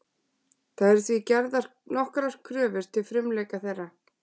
Það eru því gerðar nokkrar kröfur til frumleika þeirra.